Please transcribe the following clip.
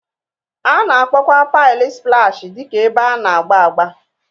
A na-akpọkwa paịlị splash dị ka ebe a na-agba agba